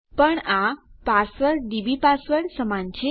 પણ આ password DB password સમાન છે